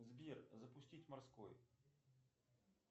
сбер запустить морской